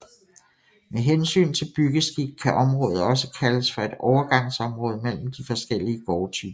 Med hensyn til byggeskik kan området altså kaldes for et overgangsområde mellem de forskellige gårdtyper